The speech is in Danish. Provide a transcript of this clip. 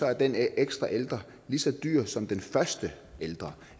er den ekstra ældre lige så dyr som den første ældre